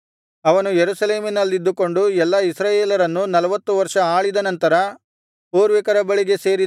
ಅವನು ಯೆರೂಸಲೇಮಿನಲ್ಲಿದ್ದುಕೊಂಡು ಎಲ್ಲಾ ಇಸ್ರಾಯೇಲರನ್ನು ನಲ್ವತ್ತು ವರ್ಷ ಆಳಿದ ನಂತರ